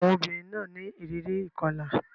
Àwọn obìnrin náà ní ìrírí ìkọlà.